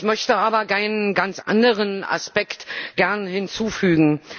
Ich möchte aber einen ganz anderen Aspekt gern hinzufügen.